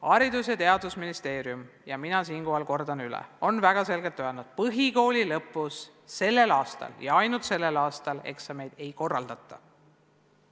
Haridus- ja Teadusministeerium – ma siinkohal kordan üle – on väga selgelt öelnud, et põhikooli lõpus sellel aastal ja ainult sellel aastal eksameid ei korraldata.